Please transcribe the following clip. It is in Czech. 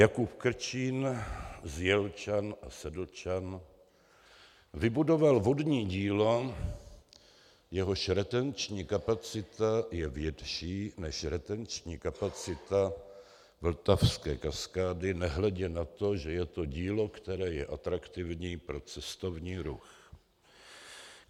Jakub Krčín z Jelčan a Sedlčan vybudoval vodní dílo, jehož retenční kapacita je větší než retenční kapacita vltavské kaskády, nehledě na to, že je to dílo, které je atraktivní pro cestovní ruch.